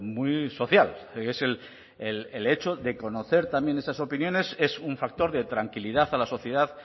muy social es el hecho de conocer también esas opiniones es un factor de tranquilidad a la sociedad